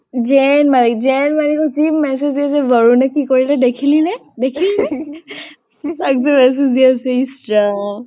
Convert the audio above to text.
জৈন মল্লিক জৈন মল্লিকক কি message দিছে বৰুণে কি কৰিলে দেখিলি নে? দেখিলি নে? তাক যে message দি আছে ইচ ৰাম।